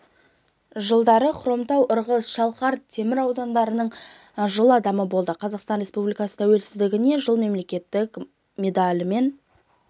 жылдары хромтау ырғыз шалқар темір аудандарының жыл адамы болды қазақстан республикасы тәуелсіздігіне жыл мерекелік медалімен